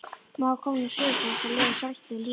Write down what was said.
Maður kom nú suður til þess að lifa sjálfstæðu lífi.